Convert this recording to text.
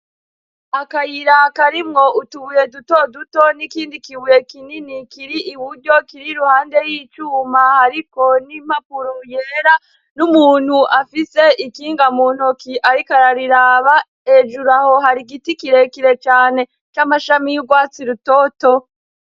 Akayiraka arimwo utubuye duto duto n'ikindi kibuye kinini kiri i buryo kiri ruhande y'icumahoariko n'impapuro yera n'umuntu afise ikinga mu ntoki, ariko arariraba ejuru aho hari igiti kirekire cane c'amashami y'urwatsi rutoto.